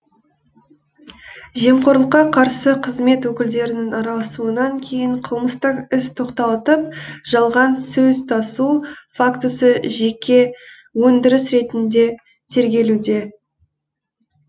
жемқорлыққа қарсы қызмет өкілдерінің араласуынан кейін қылмыстық іс тоқтатылып жалған сөз тасу фактісі жеке өндіріс ретінде тергелуде